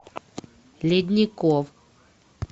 ледников